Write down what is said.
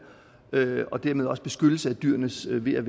og dermed også beskyttelse af dyrenes ve og